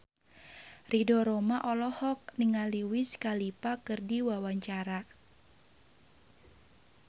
Ridho Roma olohok ningali Wiz Khalifa keur diwawancara